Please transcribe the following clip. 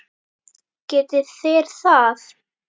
Geti þeir það?